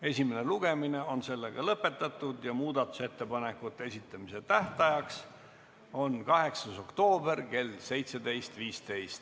Esimene lugemine on lõpetatud ja muudatusettepanekute esitamise tähtaeg on 8. oktoober kell 17.15.